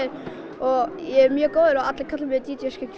og ég er mjög góður og allir kalla mig d